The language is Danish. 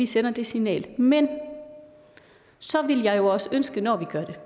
sender det signal men så vil jeg også ønske når